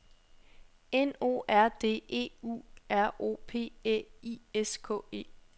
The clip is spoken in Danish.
N O R D E U R O P Æ I S K E